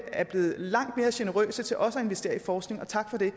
er blevet langt mere generøse til også at investere i forskning og tak for det